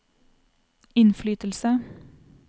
innflytelse